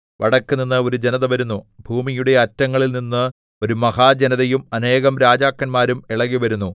വടക്കുനിന്ന് ഒരു ജനത വരുന്നു ഭൂമിയുടെ അറ്റങ്ങളിൽനിന്ന് ഒരു മഹാജനതയും അനേകം രാജാക്കന്മാരും ഇളകിവരുന്നു